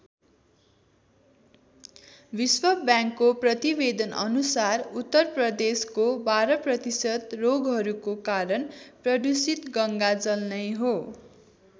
विश्व बैंकको प्रतिवेदन अनुसार उत्तरप्रदेशको १२ प्रतिशत रोगहरूको कारण प्रदूषित गङ्गाजल नै हो।